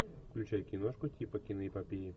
включай киношку типа киноэпопеи